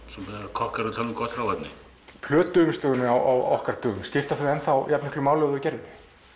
kokkar tala um gott hráefni plötuumslög á okkar dögum skipta þau enn jafn miklu máli og þau gerðu